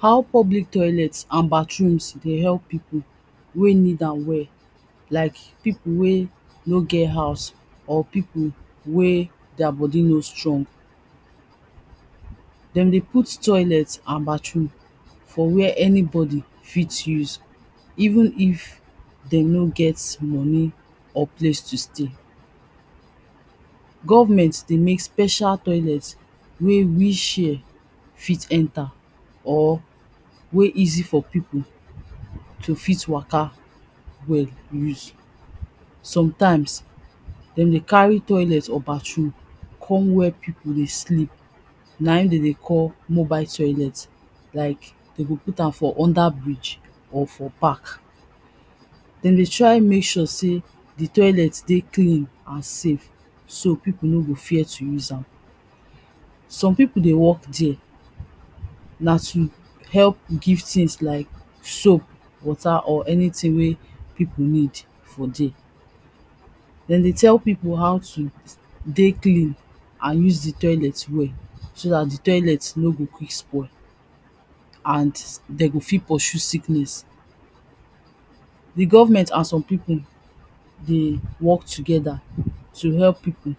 How public toilets and bathrooms dey help pipu wey need am well like pipu wey no get house or pipu wey deir body no dey strong. Dem dey put toilet and bathroom for where anybody fit use, even if de no get money or place to stay. Government dey mek special toilet wey wheel chair fit enter or wey easy for pipu to fit Waka well use. Sometimes, dem dey carry toilet or bathroom come where pipu dey sleep, na in den dey call mobile toilet, like de go put am for under bridge or for pack. Den dey try mek sure sey the toilet dey clean and safe, so pipo no go fear to use am. Some pipu dey work dere, na to help give things like soap, water or anything wey you need for dere. Den dey tell pipu how to dey clean and use the toilet well, so dat the toilet no go quick spoil and de go fit pursue sickness. The government and some pipu dey work together to help pipu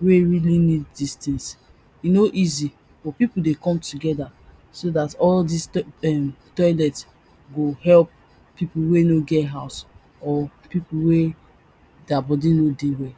wey really need this things, e no easy but pipu dey come together so dat all toi em, toilet go help pipu wey no get house or pipu wey deir body no dey well.